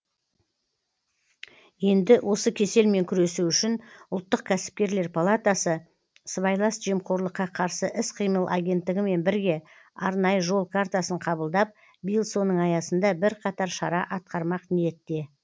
енді осы кеселмен күресу үшін ұлттық кәсіпкерлер палатасы сыбайлас жемқорлыққа қарсы іс қимыл агенттігімен бірге арнайы жол картасын қабылдап биыл соның аясында бірқатар шара атқармақ ниетте